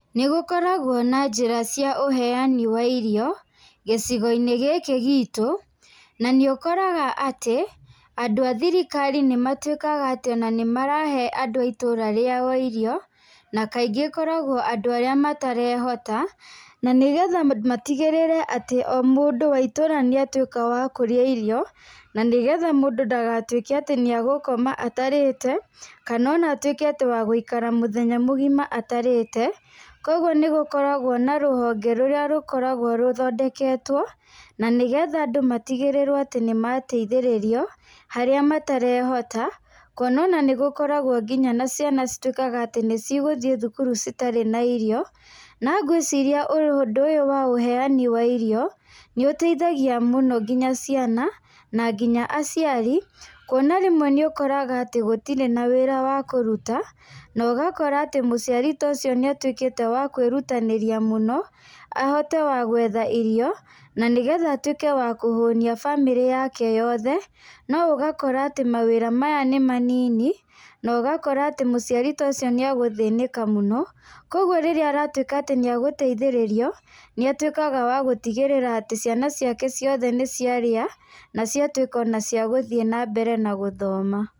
Nĩ gũkoragwo na njĩra cia ũheani wa irio gĩcigo-inĩ gĩkĩ gitũ. Na nĩ ũkoraga atĩ andũ a thirikari nĩ matuĩkaga atĩ ona nĩ marahe andũ a itũra rĩao irio, na kaingĩ ĩkoragwo andũ arĩa matarehota. Na nĩgetha matigĩrĩre atĩ o mũndũ wa itũra nĩatuĩka wa kũrĩa irio, na nĩgetha mũndũ ndagatuĩke atĩ nĩagũkoma atarĩte, kana ona atuĩke wa gũikara mũthenya mũgima atarĩte. Koguo nĩ gũkoragwo na rũhonge rũrĩa rũkoragwo rũthondeketwo, na nĩgetha andũ matigĩrĩrwo harĩa matarehota. Kuona ona nĩ gũkoragwo nginya na ciana cituĩkaga atĩ nĩ cigũthiĩ cukuru citarĩ na irio. Na ngwĩciria ũndũ ũyũ wa ũheani wa irio nĩ ũteithagia mũno nginya ciana na nginya aciari. Kuona rĩmwe nĩ ũkoraga atĩ gũtirĩ na wĩra wa kũruta na ũgakora atĩ mũciari ta ũcio nĩ atuĩkĩte wa kwĩrutanĩria mũno, ahote wa gwetha irio, na nĩgetha atuĩke wa kũhũnia bamĩrĩ yake yothe. No ũgakora atĩ mawĩra maya nĩ manini na ũgakora atĩ mũciari ta ũcio nĩ egũthĩnĩka mũno. Koguo rĩrĩa aratuĩka atĩ nĩ egũteithĩrĩrio, nĩ atuĩkaga wa gũtigĩrĩra atĩ ciana ciake ciothe nĩ ciarĩa na ciatuĩka ona cia gũthiĩ na mbere na gũthoma.